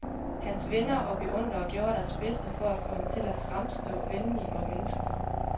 Hans venner og beundrere gjorde deres bedste for at få ham til at fremstå venlig og menneskelig.